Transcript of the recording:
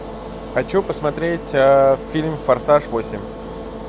хочу посмотреть фильм форсаж восемь